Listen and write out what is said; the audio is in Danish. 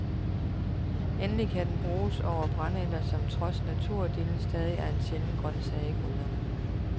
Endelig kan den bruges over brændenælder som trods naturdillen stadig er en sjælden grøntsag i gryderne.